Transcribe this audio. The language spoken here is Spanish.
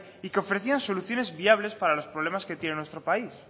y que ofrecían soluciones viables para los problemas que tiene nuestro país